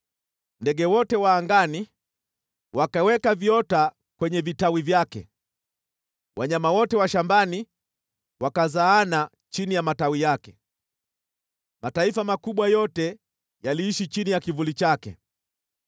Ndege wote wa angani wakaweka viota kwenye vitawi vyake, wanyama wote wa shambani wakazaana chini ya matawi yake, mataifa makubwa yote yaliishi chini ya kivuli chake.